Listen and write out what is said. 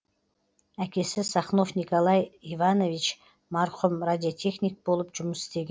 әкесі сахнов николай иванович марқұм радиотехник болып жұмыс істеген